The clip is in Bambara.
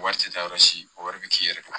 Wari tɛ taa yɔrɔ si o wari bɛ k'i yɛrɛ bolo